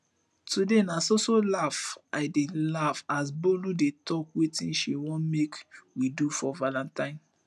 today na so so laugh i dey laugh as bolu dey talk wetin she wan make we do for valentine